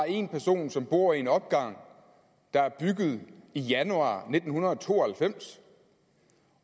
en person som bor i en opgang der er bygget i januar nitten to og halvfems